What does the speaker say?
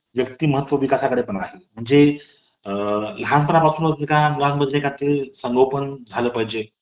एका आत्ता जेव्हा तिच्या एका भेटीसाठी मला सुट्टी घ्यावी लागते तेव्हा तिचे महत्व आपल्याला समजते आणि अं जेव्हा आम्हाला सुट्टी भेटते हम्म तेव्हा मी अं घरी जाते